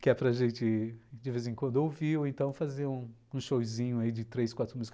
que é para gente, de vez em quando, ouvir ou então fazer um showzinho aí de três, quatro músicas.